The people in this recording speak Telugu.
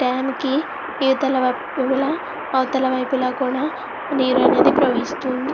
డం కి అవుతల వైపు గ ఇవు తల వైపు ల కూడా నేరు ప్రవహిస్తూ వుంది.